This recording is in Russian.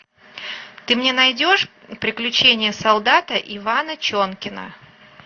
ты мне найдешь приключения солдата ивана чонкина